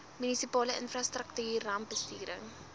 munisipale infrastruktuur rampbestuur